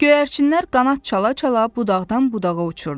Göyərçinlər qanad çala-çala budaqdan budağa uçurdu.